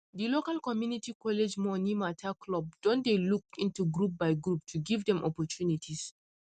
di local community college money mata club don dey look into group by group to give dem opportunities